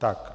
Tak.